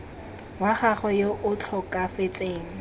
wa gagwe yo o tlhokafetseng